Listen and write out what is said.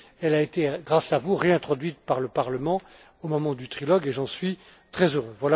Elle a été, grâce à vous, réintroduite par le Parlement au moment du trilogue et j'en suis très heureux.